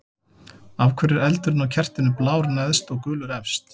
Af hverju er eldurinn á kertinu blár neðst og gulur efst?